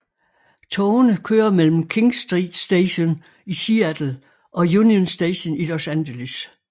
Togene kører mellem King Street Station i Seattle og Union Station i Los Angeles